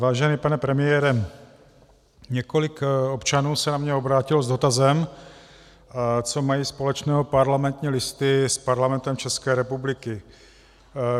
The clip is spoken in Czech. Vážený pane premiére, několik občanů se na mě obrátilo s dotazem, co mají společného Parlamentní listy s Parlamentem České republiky.